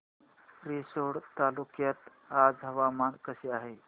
रिसोड तालुक्यात आज हवामान कसे आहे